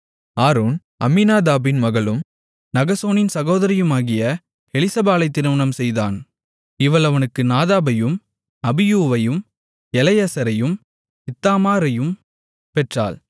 Aaron அம்மினதாபின் மகளும் நகசோனின் சகோதரியுமாகிய எலிசபாளை திருமணம் செய்தான் இவள் அவனுக்கு நாதாபையும் அபியூவையும் எலெயசரையும் இத்தாமாரையும் பெற்றாள்